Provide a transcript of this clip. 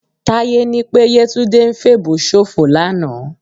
Táyé ní pé Yétúndé ń fèèbó ṣòfò lánàá